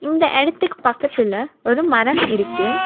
இந்த இடத்துக்கு பக்கத்துல ஒரு மரம் இருக்கு.